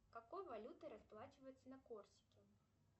какой валютой расплачиваются на корсике